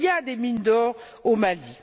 Il y a des mines d'or au Mali.